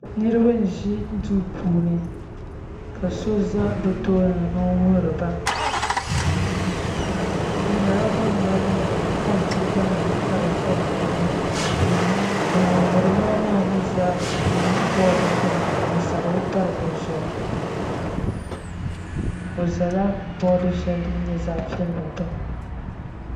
Niraba n ʒi duu puuni ka so ʒɛ bi tooni n wuhuriba bi nyɛla bam mali kompiuta nim ka di za bi tooni ka ŋun wuhuriba maa mii ʒɛ bood gbuni n sabiri pari di zuɣu o ʒɛla bood din nyɛ zaɣ piɛlli gbuni